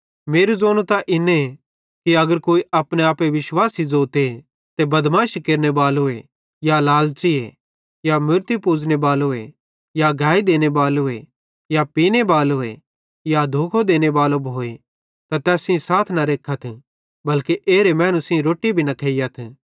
मेरू ज़ोनू त इन्ने कि अगर कोई अपने आपे विश्वासी ज़ोते ते बदमाशी केरनेबालो या लालच़ी या मूरती पुज़ने बालो या गैई देने बालो या पीने बालो या धोखो केरनेबालो भोए त तैस सेइं साथ न रेखतथ बल्के एरे मैनू सेइं साथी रोट्टी भी न खेइयथ